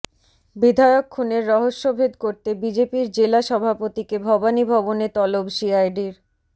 বিধায়ক খুনের রহস্যভেদ করতে বিজেপির জেলা সভাপতিকে ভবানীভবনে তলব সিআইডির